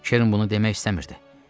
Kern bunu demək istəmirdi.